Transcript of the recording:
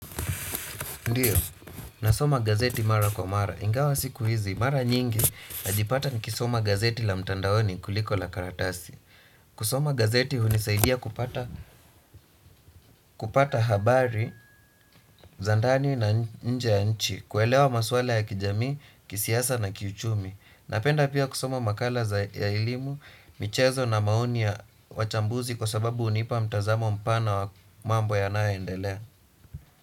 Ndio, nasoma gazeti mara kwa mara. Ingawa siku hizi, mara nyingi, najipata nikisoma gazeti la mtandaoni kuliko la karatasi. Kusoma gazeti hunisaidia kupata habari, za ndani na nje ya nchi, kuelewa maswala ya kijamii, kisiasa na kiuchumi. Napenda pia kusoma makala za elimu, michezo na maoni ya wachambuzi kwa sababu hunipa mtazamo mpana wa mambo yanayoendelea.